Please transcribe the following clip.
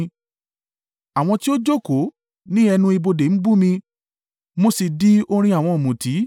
Àwọn tí ó jókòó ní ẹnu ibodè ń bú mi, mo sì di orin àwọn ọ̀mùtí.